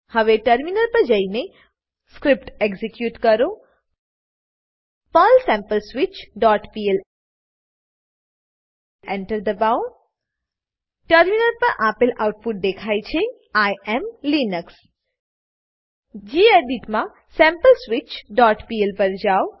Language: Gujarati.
હવે ટર્મિનલ પર જઈને સ્ક્રીપ્ટ એક્ઝીક્યુટ કરો પર્લ sampleswitchપીએલ Enter દબાવો ટર્મિનલ પર આપેલ આઉટપુટ દેખાય છે આઇ એએમ લિનક્સ ગેડિટ માં sampleswitchપીએલ પર જાવ